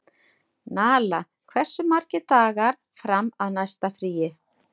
Nala, hversu margir dagar fram að næsta fríi?